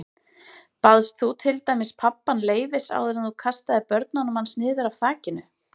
Baðst þú til dæmis pabbann leyfis áður en þú kastaðir börnunum hans niður af þakinu?